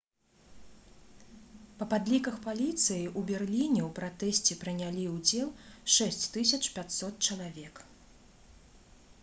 па падліках паліцыі ў берліне ў пратэсце прынялі ўдзел 6500 чалавек